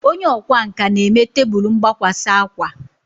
Onye ọkwá nkà na-eme tebụl mgbakwasa akwa